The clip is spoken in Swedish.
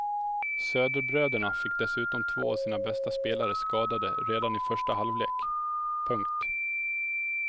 Söderbröderna fick dessutom två av sina bästa spelare skadade redan i första halvlek. punkt